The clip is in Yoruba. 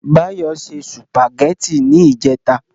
Báyọ̀ ṣe sùpàgẹ́tì ní ìjẹta